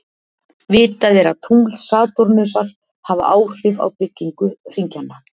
Vitað er að tungl Satúrnusar hafa áhrif á byggingu hringjanna.